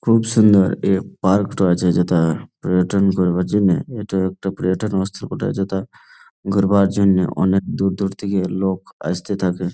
খুব সুন্দর এই পার্ক -টো আছে যেটা পর্যটন করবার জন্যে এটা একটা পর্যটন বটে যেটা ঘুরবার জন্যে অনেক দূর দূর থেকে লোক আসতে থাকে।